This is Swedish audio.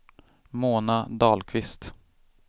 Mona Dahlqvist